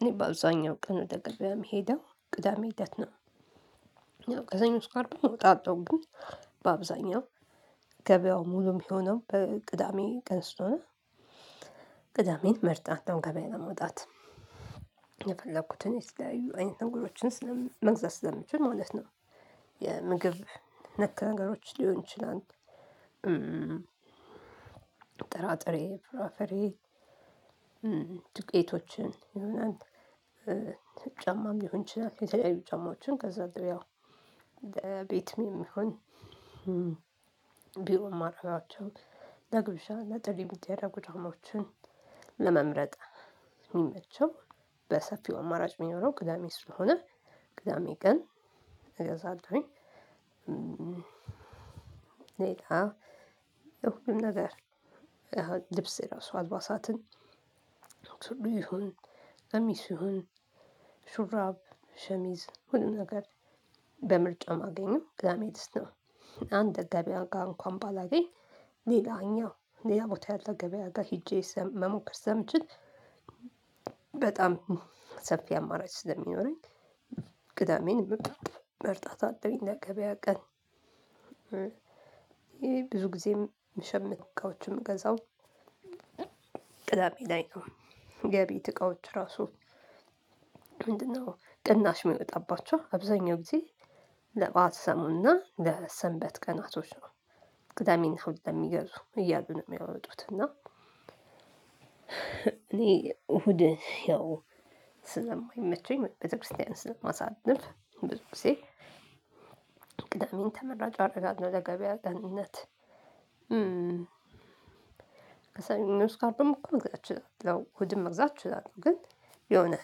እኔ በአብዛኛው ቀን ወደ ገበያ የምሄደው ቅዳሜ ለት ነው። ከሰኞ እስከ አርብም እወጣለሁ ግን በአብዛኛው ገበያው ሙሉ የሚሆነው በቅዳሜ ቀን ስለሆነ። ቅዳሜን መርጣለው ገበያ ለመውጣት። የፈለኩትን የተለያዩ አይነት ነገሮችን መግዛት ስለሚችል ማለት ነው። የምግብ ነክ ነገሮች ሊሆን ይችላል። ጥራጥሬ ፍራፍሬ ዱቄቶችን የሆነ ጫማም ሊሆን ይችላል የተለያዩ ጫማዎችን ከዛ እንደው ያው ቤትም ይሆን። ቢሮ ማደርጋቸውን ለግብዣ ለጥሪ የሚደረጉ ጫማዎችን ለመምረጥ የሚመቸው በሰፊው አማራጭ የሚኖረው ቅዳሜ ስለሆነ ቅዳሜ ቀን እገዛለሁኝ። ሌላ ነገር ልብስ እራሱ አልባሳትን ይሁን ቀሚስ ይሁን ሹራብ ሸሚዝ ሁሉን ነገር በምርጫ ማገኘው ቅዳሜ ነው። አንድ ገበያ ጋር እንኳን ባላገኝ ሌላኛው ሌላ ቦታ ያለ ገበያ ጋር ሄጄ መሞከር ስለምችል። በጣም ሰፊ አማራጭ ስለሚኖረኝ ቅዳሜን መርጣታለሁኝ ለገበያ ቀን። ይሄ ብዙ ጊዜም ምሽምት እቃዎችም ምገዛው ቅዳሜ ላይ ነው። የቤት እቃዎች ራሱ ምንድነው? ቅናሽ የሚወጣባቸው አብዛኛው ጊዜ ለበአል ሰሞንና ለሰንበት ቀናቶች ነው። ቅዳሜና እሁድ ለሚገዙ እያሉ ነው የሚያወጡት እና እኔ እሁድ ያው ስለማይመቸኝ ቤተክርስቲያን ስለማሳልፍ ብዙ ጊዜ። ቅዳሜን ተመራጭ አደርጋለሁ ለ ገበያ ቀንነት እም እም ስካርድ መግዛት ይችላል እም እም መግዛት ትችላለህ? ግን የሆነ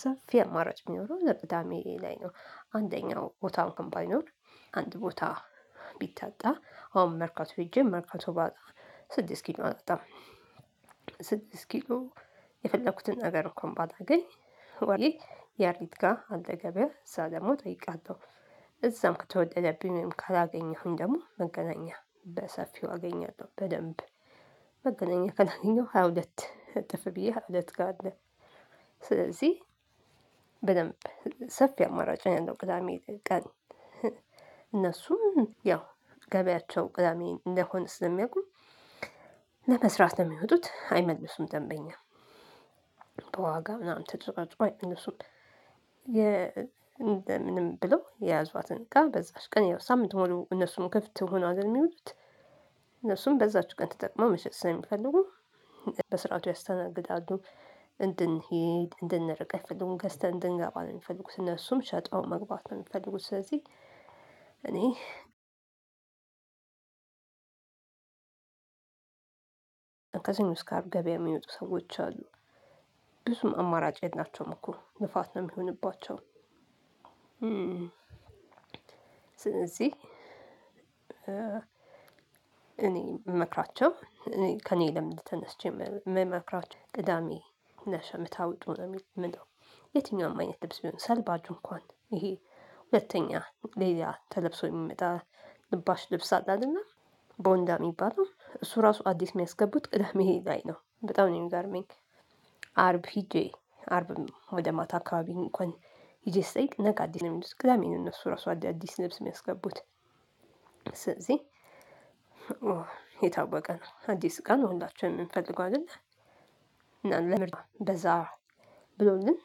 ሰፊ አማራጭ የሚኖረው ዘርፍታ ሜሪ ላይ ነው። አንደኛው ቦታውን እንኳን ባይኖር አንድ ቦታ ቢታጣ አሁን መርካቶ ሄጄ መርካቶ ባጣ ስድስት ኪሎ አላጣም። ስድስት ኪሎ የፈለኩትን ነገር እኮ ባላገኝ ግን ወይ ያሪት ጋር አልደገበረኩም እዛ ደግሞ እጠይቃታው። እዛም ከተወደደብኝ ካላገኘሁም ደግሞ መገናኛ በሰፊው አገኛለሁ። በደንብ መገናኛ ከላገኘው ሃያ ሁለት እጥፍ ብዬ ሃያ ሁለት ካለ ስለዚህ በደንብ ሰፊ አማራጭ ነው ቅዳሜ ቀን። ያው ገበያቸው ቅዳሜ እንደሆነ ስለሚያውቁ ለመስራት ነው የሚወጡት አይመልሱም ደንበኛ በዋጋ ምናምን ተጨቃጭቀው አይመልሱም። እንደምንም ብሎ የያዟትን ጋር በዛች ቀን ያው ሳምንት ሆኖ እነሱም ክፍት ሆኖ አይደል የሚውሉት እነሱም በዛች ቀን ተጠቅመው መሸጥስለሚፈልጉ በስርዓቱ ያስተናግዳሉ። እንድንሄድ፣ እንድንርቅ አይፈልጉም ገዝተን እንድንገባ ነው የምንፈልጉት እነሱም ሸጠው መግባት ነው የምንፈልጉት ስለዚህ። እኔ ከሰኞ እስከ አርብ ገበያ የሚወጡ ሰዎች አሉ ብዙም አማራጭ የላቸውም እኮ ልፋት ነው የሚሆንባቸው። ስለዚህ እኔ የምመክራቸው ከእኔ ልምድ ተነስቼ የምመክራችሁ ቅዳሜ ነሽ የምታወጡ ነው የምለው። የትኛውም አይነት ልብስ ቢሆን ሰልባጁ እንኳን ይሄ ሁለተኛ ሌላ ተለብሶ የሚመጣ ልባሽ ልብስ አለ አይደለ ቦንዳ ሚባለው እሱ ራሱ አዲስ የሚያስገቡት ቅደሜ ላይ ነው። በጣም ነው የሚገርመኝ። አርብ ሄጄ አርብም ወደ ማታ አካባቢን እንኳን ሂጄ ስትጠይቅ ነገ አዲስ አመት ውስጥ ቅዳሜ ነው እነሱ ራሱ አዳዲስ ልብስ የሚያስገቡት። ስለዚህ የታወቀ ነው አዲስ እቃ ነው ሁላችንም እንፈልገዋለን። እና ለምርጫ በዛ ብሎኝም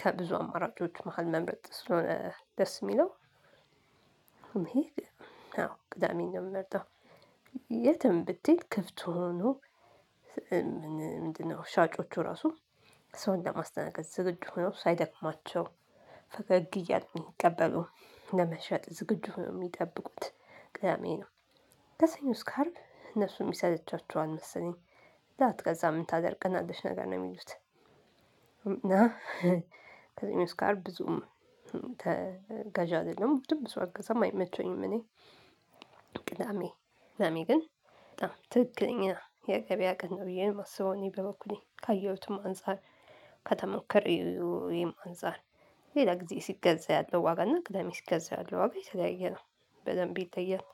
ከብዙ አማራጮች መሃል መምረጥ ስለሆነ ደስ የሚለው። አዎ ቅዳሜን ነው የምመርጠው። የትም ብትሄድ ክፍት ሆኖ ምንድነው? ሻጮቹ ራሱ ሰው ለማስተናገድ ዝግጁ ሆኖ ሳይደክማቸው ፈገግ እያሉ ሚቀበሉት ለመሸጥ ዝግጁ ሆኖ የሚጠብቁት ቅዳሜ ነው። ከሰኞ እስከ አርብ እነሱም ይሰለቻቸዋል መሰለኝ ላትገዛ ምን የምታደርገን አለች ነገር ነው የሚሉት። እና እኔ ስካርብ ብዙም ተገዣ አይደለም ውስጥም ብዙ አገዛም አይመቸኝም። እኔ ቅዳሜ ቅዳሜ ግን በጣም ትክክለኛ የገበያ ቀን ነው ብዬ የማስበው እኔ በበኩሌ ካየሁትም አንፃር ከተሞከረው ወይም አንፃር ሌላ ጊዜ ሲገዛ ያለው ዋጋ እና ቅዳሜ ሲገዛ ያለው ዋጋ የተለያየ ነው። በደንብ ይታያል።